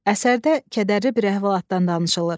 Əsərdə kədərli bir əhvalatdan danışılır.